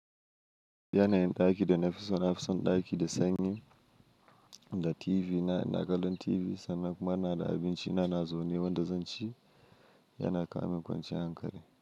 Yanayin daki da nafi so. Nafison daki da sanyi, da TV na ina ganin TV sannan kuma inada abinci na nazawne wanda zan ci. Yana kawo min kwanciyar hankali.